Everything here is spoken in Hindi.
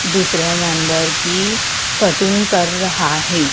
दूसरे मेंबर की कटिंग कर रहा है।